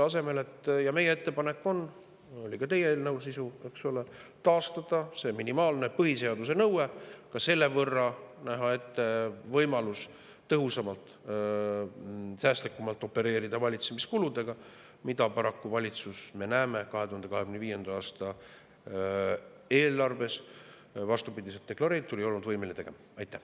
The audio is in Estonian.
Meie ettepanek on – see oli ka teie eelnõu sisu, eks ole – taastada see minimaalne põhiseaduse nõue, näha selle võrra ette võimalus tõhusamalt ja säästlikumalt opereerida valitsemiskuludega, mida paraku valitsus, nagu me näeme 2025. aasta eelarvest, vastupidi deklareeritule ei ole olnud võimeline tegema.